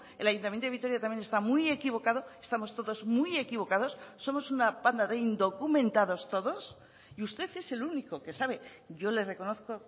el ayuntamiento de vitoria también está muy equivocado estamos todos muy equivocados somos una panda de indocumentados todos y usted es el único que sabe yo le reconozco